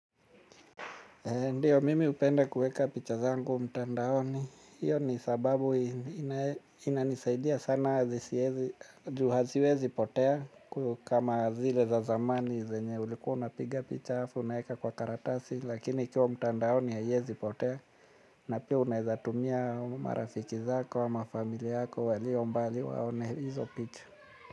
Ndiyo, mimi hupenda kuweka picha zangu mtandaoni. Hiyo ni sababu inanisaidia sana juu haziwezi potea kama zile za zamani zenye ulikuwa unapiga picha halafu unaweka kwa karatasi. Lakini ikiwa mtandaoni haiwezi potea na pia unaweza tumia marafiki zako ama familia yako walio mbali waone hizo picha.